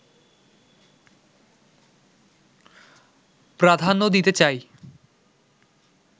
প্রাধান্য দিতে চাই